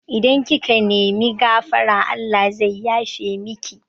Idan kika nemi gafara Allah zai yafe miki